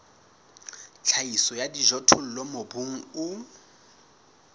tlhahiso ya dijothollo mobung o